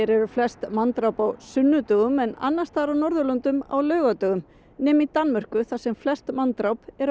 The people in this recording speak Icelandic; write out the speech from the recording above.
eru flest manndráp hér á sunnudögum en annars staðar á Norðurlöndum á laugardögum nema í Danmörku þar sem flest manndráp eru á